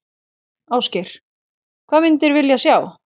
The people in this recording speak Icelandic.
Ásgeir: Hvað myndir vilja sjá?